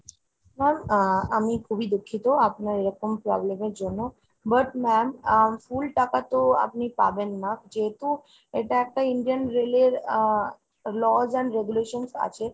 ma'am ah আমি খুবই দুঃখিত আপনার এরকম problem এর জন্য। but ma'am আহ full টাকা তো আপনি পাবেন না যেহেতু এটা একটা Indian rail এর আহ laws and regulations আছে